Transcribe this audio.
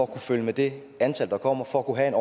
kunne følge med det antal der kommer for at kunne have en